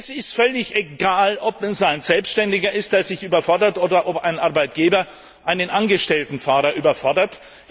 Es ist völlig egal, ob es ein Selbständiger ist, der sich überfordert, oder ob ein Arbeitgeber einen angestellten Fahrer überfordert.